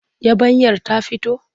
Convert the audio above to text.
Yabanyar ta fito?